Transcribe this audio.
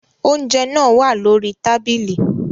Oúnjẹ náà wá lórí tábìlì